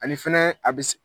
Ani fɛnɛ a bɛ s